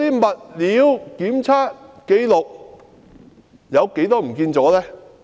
物料檢測紀錄遺失了多少呢？